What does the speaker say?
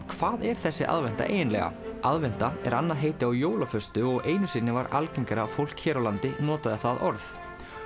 hvað er þessi aðventa eiginlega aðventa er annað heiti á jólaföstu og einu sinni var algengara að fólk hér á landi notaði það orð